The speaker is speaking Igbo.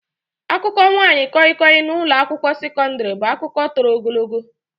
Akụkọ nwaanyị koi-koi na ụlọ akwụkwọ sekọndrị bụ akụkọ toro ogologo.